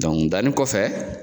danni kɔfɛ